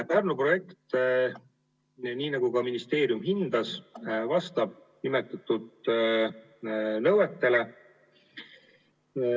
Pärnu projekt, nii nagu ka ministeerium hindas, vastab nimetatud nõuetele.